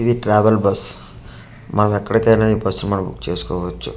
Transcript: ఇది travel bus మనం ఎక్కడికి అయిన ఈ బస్ బుక్ చేసుకోవచ్చు.